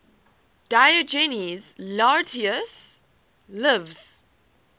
diogenes laertius's lives